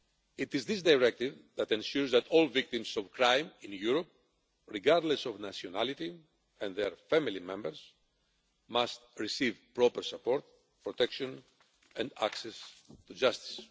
It is this directive that ensures that all victims of crime in Europe, regardless of nationality and their family members, must receive proper support, protection and access to justice.